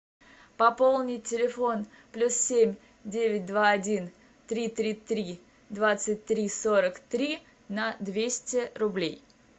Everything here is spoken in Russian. пополнить телефон плюс семь девять два один три три три двадцать три сорок три на двести рублей